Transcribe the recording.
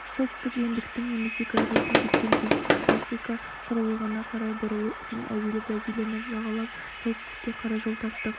солтүстік ендіктің немесе градусына жеткен кезде африка құрлығына қарай бұрылу үшін әуелі бразилияны жағалап солтүстікке қарай жол тарттық